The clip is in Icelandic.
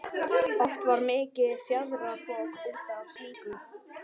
Oft varð mikið fjaðrafok út af slíku.